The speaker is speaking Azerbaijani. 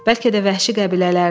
Bəlkə də vəhşi qəbilələrdir.